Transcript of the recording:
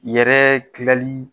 Yɛrɛ dilali